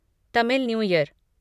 Tamil new year